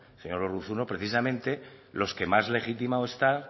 señor urruzuno precisamente los que más legitimados están